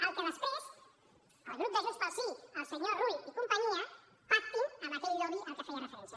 el que després el grup de junts pel sí el senyor rull i companyia pactin amb aquell lobby al que feia referència